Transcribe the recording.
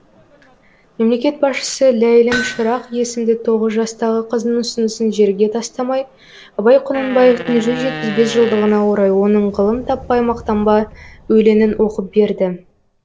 мемлекет басшысы ләйлім шырақ есімді тоғыз жастағы қыздың ұсынысын жерге тастамай абай құнанбаевтың жүз жетпіс бес жылдығына орай оның ғылым таппай мақтанба өлеңін оқып берді